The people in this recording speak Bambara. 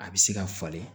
A bɛ se ka falen